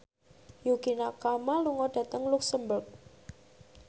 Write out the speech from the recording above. Yukie Nakama lunga dhateng luxemburg